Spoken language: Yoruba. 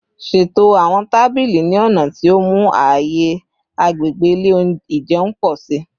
Ṣeto awọn tabili ni ọna ti o mu aaye agbegbe ile ijeun pọ si